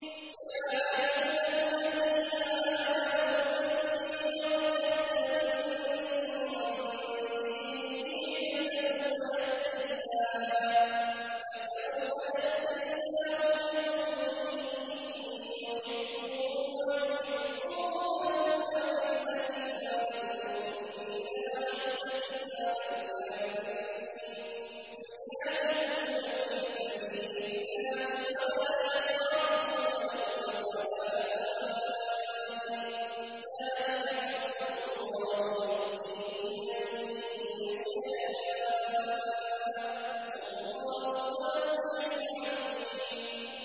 يَا أَيُّهَا الَّذِينَ آمَنُوا مَن يَرْتَدَّ مِنكُمْ عَن دِينِهِ فَسَوْفَ يَأْتِي اللَّهُ بِقَوْمٍ يُحِبُّهُمْ وَيُحِبُّونَهُ أَذِلَّةٍ عَلَى الْمُؤْمِنِينَ أَعِزَّةٍ عَلَى الْكَافِرِينَ يُجَاهِدُونَ فِي سَبِيلِ اللَّهِ وَلَا يَخَافُونَ لَوْمَةَ لَائِمٍ ۚ ذَٰلِكَ فَضْلُ اللَّهِ يُؤْتِيهِ مَن يَشَاءُ ۚ وَاللَّهُ وَاسِعٌ عَلِيمٌ